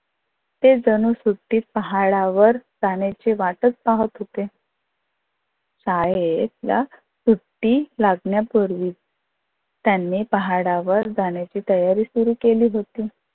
ते जणू सुटीत पाहाडावर जाण्याचे वाटच पाहत होते. शाळेतल्या सुटी लागण्या पूर्वी त्यानी पाहाडावर जाण्याची तयारी सुरु केली होती.